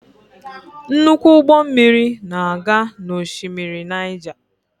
Nnukwu ụgbọ mmiri na-aga n'oshimmiri Naija.